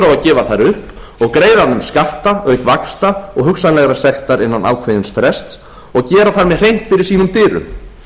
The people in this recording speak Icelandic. gefa þær upp og greiða af þeim skatta auk vaxta og hugsanlegrar sektar innan ákveðins frests og gera þar með hreint fyrir sínum dyrum